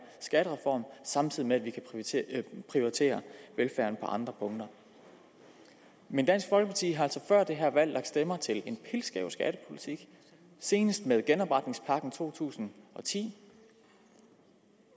skattereform samtidig med at vi kan prioritere velfærden på andre punkter men dansk folkeparti har altså før det her valg lagt stemmer til en pilskæv skattepolitik senest med genopretningspakken to tusind og ti